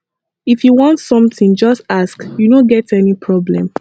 if you want something just ask you no get any problem